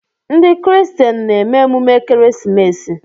Ndị kristen na-eme emume ekeresimesi.